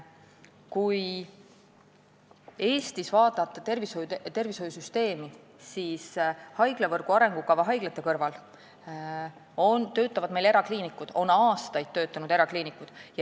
Kui vaadata Eesti tervishoiusüsteemi, siis haiglavõrgu arengukava haiglate kõrval on meil aastaid töötanud erakliinikud.